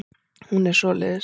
Hún er svoleiðis.